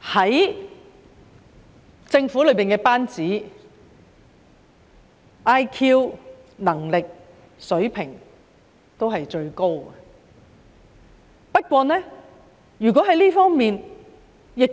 在政府班子中，局長的 IQ、能力被視為最高，但可能因此而